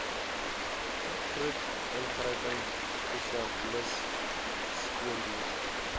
vroed ingryping spesialissteundienste